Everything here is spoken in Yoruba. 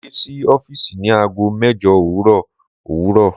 Mo de si ọfiisi ni aago mẹjọ owurọ owurọ